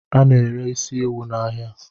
Ana ere is ewu n'ahia